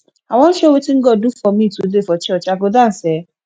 i wan show wetin god do for me today for church i go dance um